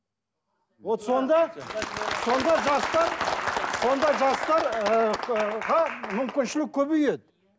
вот сонда сонда жастар сонда жастар ыыы мүмкіншілік көбейеді